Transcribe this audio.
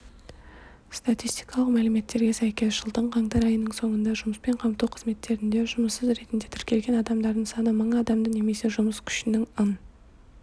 статистикалық мәліметтерге сәйкес жылдың қаңтар айының соңында жұмыспен қамту қызметтерінде жұмыссыз ретінде тіркелген адамдардың саны мың адамды немесе жұмыс күшінің ын